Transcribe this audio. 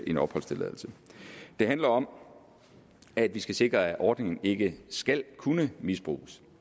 en opholdstilladelse det handler om at vi skal sikre at ordningen ikke skal kunne misbruges